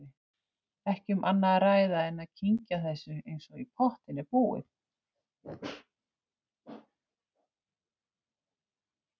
Ekki um annað að ræða en að kyngja þessu eins og í pottinn er búið.